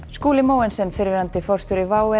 Skúli Mogensen fyrrverandi forstjóri WOW